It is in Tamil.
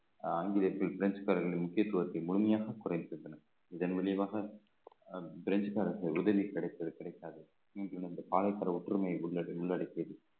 ஆங்கிலேயர்க்கு பிரெஞ்சுகாரர்கள் முக்கியத்துவத்தை முழுமையாக குறை இதன் விளைவாக அஹ் பிரெஞ்சுகாரர்கள் உதவி கிடைப்பது கிடைக்காது ஒற்றுமையை உள்~ உள்ளடக்கியது